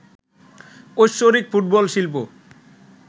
ঐশ্বরিক ফুটবল শিল্প